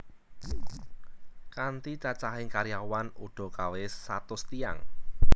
Kanthi cacahing karyawan udakawis satus tiyang